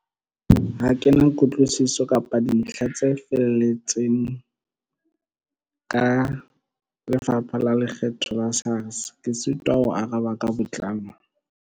Ha kena kutlwisiso kapa dintlha tse felletseng ka Lefapha la Lekgetho la SARS. Ke sitwa ho araba ka botlalo.